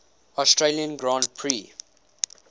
australian grand prix